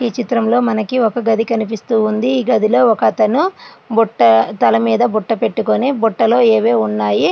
ఈ చిత్రంలో మనకి ఒక గది కనిపిస్తుంది. ఈ గదిలో ఒక అతను బుట్టను తల మీద బుట్ట పెట్టుకొని బుట్టలో ఏవో ఉన్నాయి.